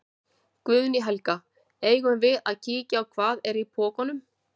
Guðný Helga: Eigum við að kíkja á hvað, hvað er í pokunum?